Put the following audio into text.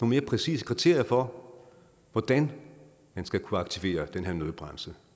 mere præcise kriterier for hvordan man skal kunne aktivere den her nødbremse